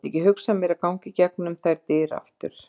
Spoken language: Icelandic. Ég get ekki hugsað mér að ganga í gegnum þær dyr aftur.